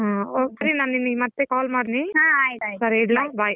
ಹ್ಮ್ okay ನಾನ್ ನಿನ್ಗೆ ಮತ್ತೆ call ಮಾಡ್ತೀನಿ ಸರಿ ಇಡ್ಲ bye .